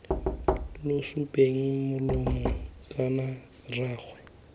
lo tsupeng molomo kana rraagwe